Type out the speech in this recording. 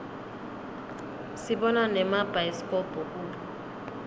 sibona nemabhayisikobho kubo